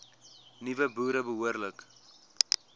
nuwe boere behoorlik